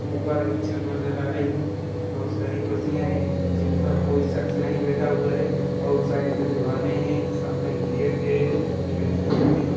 ऊपर एक छत नज़र आ रही हैं बहुत सारी कुर्सियां हैं जिन पर कोई सकस नही बेठा हुवा हैं आउट साईड में दीवाले हैं सामने गेट हैं खिडकिया हैं।